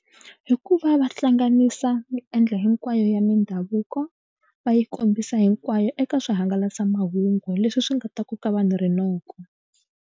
Hikuva va hlanganisa miendla hinkwayo ya mindhavuko va yi kombisa hinkwayo eka swihangalasamahungu leswi swi nga ta koka vanhu rinoko.